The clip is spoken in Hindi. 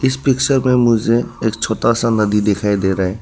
इस पिक्चर में मुझे एक छोटा सा नदी दिखाई दे रहा है।